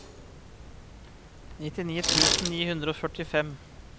nittini tusen ni hundre og førtifem